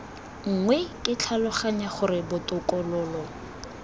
nngwe ke tlhaloganya gore botokololo